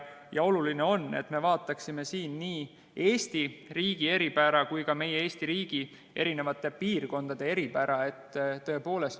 Oluline on, et me vaataksime siin nii Eesti riigi eripära kui ka meie riigi eri piirkondade eripära.